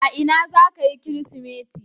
A ina zaka yi kirismeti?